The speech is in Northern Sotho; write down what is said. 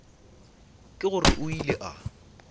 ke gore o ile a